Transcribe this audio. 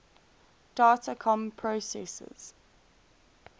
data comm processors